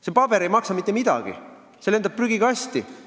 See paber ei maksa mitte midagi, see lendab prügikasti.